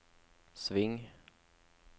sving